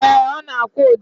Ee, ọ na-akwụ ụdọ